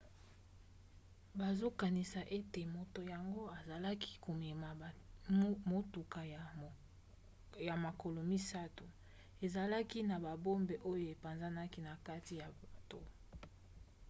bazokanisa ete moto yango azalaki komema motuka ya makolo misato ezalaki na babombe oyo apanzaki na kati ya bato